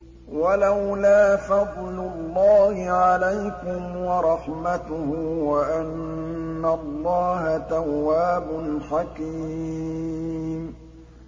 وَلَوْلَا فَضْلُ اللَّهِ عَلَيْكُمْ وَرَحْمَتُهُ وَأَنَّ اللَّهَ تَوَّابٌ حَكِيمٌ